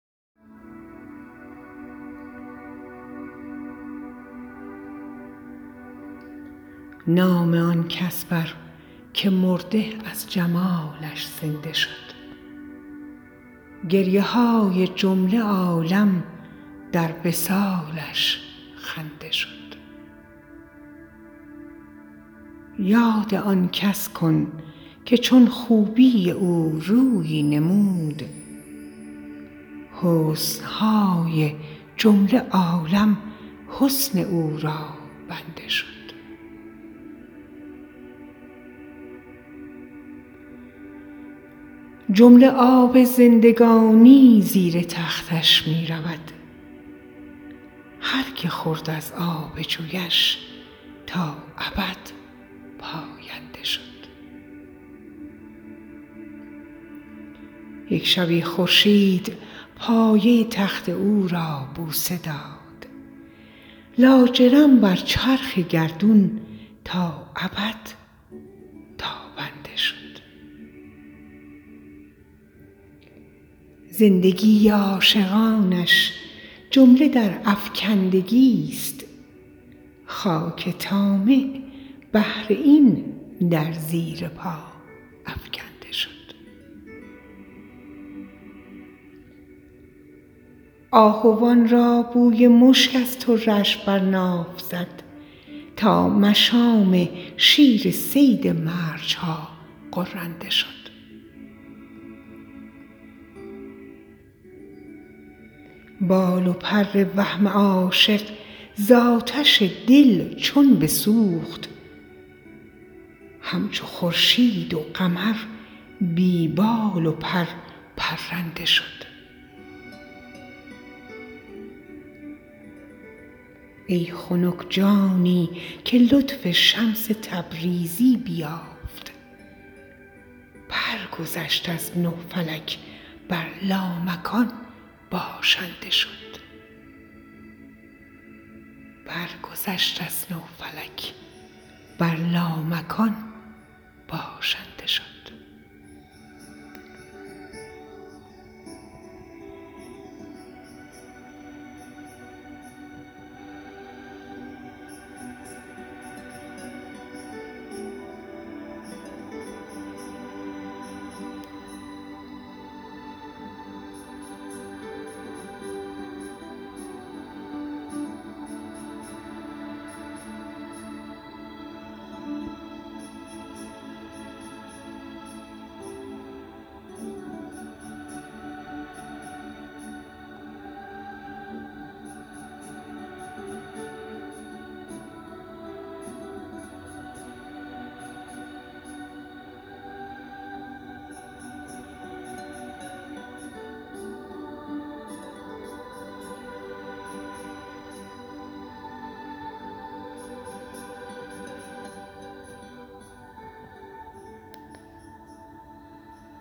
نام آن کس بر که مرده از جمالش زنده شد گریه های جمله عالم در وصالش خنده شد یاد آن کس کن که چون خوبی او رویی نمود حسن های جمله عالم حسن او را بنده شد جمله آب زندگانی زیر تختش می رود هر کی خورد از آب جویش تا ابد پاینده شد یک شبی خورشید پایه تخت او را بوسه داد لاجرم بر چرخ گردون تا ابد تابنده شد زندگی عاشقانش جمله در افکندگی ست خاک طامع بهر این در زیر پا افکنده شد آهوان را بوی مشک از طره اش بر ناف زد تا مشام شیر صید مرج ها غرنده شد بال و پر وهم عاشق ز آتش دل چون بسوخت همچو خورشید و قمر بی بال و پر پرنده شد ای خنک جانی که لطف شمس تبریزی بیافت برگذشت از نه فلک بر لامکان باشنده شد